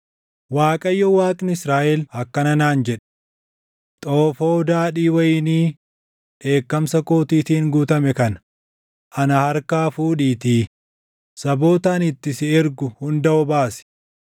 Waaqayyo Waaqni Israaʼel akkana naan jedhe: “Xoofoo daadhii wayinii dheekkamsa kootiitiin guutame kana ana harkaa fuudhiitii saboota ani itti si ergu hunda obaasi.